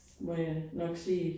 Må jeg nok sige